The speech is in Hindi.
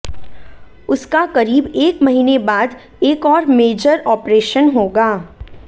उसका करीब एक महीने बाद एक और मेजर ऑपरेशन होगा